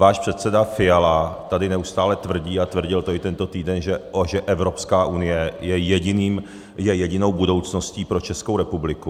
Váš předseda Fiala tady neustále tvrdí, a tvrdil to i tento týden, že Evropská unie je jedinou budoucností pro Českou republiku.